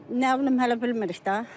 Nə bilim hələ bilmirik də.